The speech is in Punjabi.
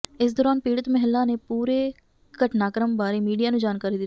ਇਸ ਦੌਰਾਨ ਪੀੜ੍ਹਤ ਮਹਿਲਾ ਨੇ ਪੂਰੇ ਘਟਨਾਕ੍ਰਮ ਬਾਰੇ ਮੀਡੀਆ ਨੂੰ ਜਾਣਕਾਰੀ ਦਿਤੀ